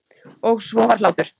Og svo var hlátur.